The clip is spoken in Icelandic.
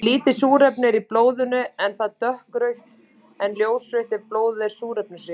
Þegar lítið súrefni er í blóðinu er það dökkrautt en ljósrautt ef blóðið er súrefnisríkt.